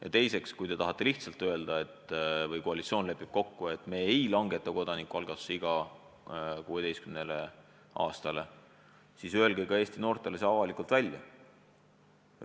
Ja teiseks, kui koalitsioon lihtsalt on kokku leppinud, et me ei langeta kodanikualgatuse õiguse iga 16 aastale, siis öelge see Eesti noortele ka avalikult välja.